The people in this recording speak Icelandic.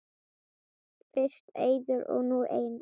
Fyrst Eiður og nú Einar??